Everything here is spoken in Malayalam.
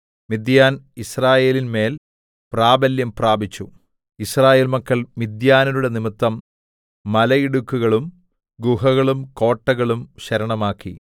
മിദ്യാൻ യിസ്രായേലിൻമേൽ പ്രാബല്യം പ്രാപിച്ചു യിസ്രായേൽ മക്കൾ മിദ്യാന്യരുടെ നിമിത്തം മലയിടുക്കുകളും ഗുഹകളും കോട്ടകളും ശരണമാക്കി